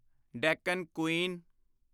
Deccan Queen